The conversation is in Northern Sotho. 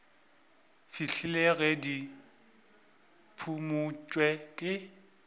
fihlela ge di phumotšwe ke